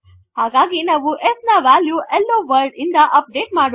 ಹಾಗಾಗಿ ನಾವು s ನ ವೆಲ್ಯು ಹೆಲ್ಲೊ ವರ್ಲ್ಡ್ ಇಂದ ಅಪ್ ಡೇಟ್ ಮಾಡೋಣ